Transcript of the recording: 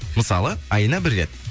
мысалы айына бір рет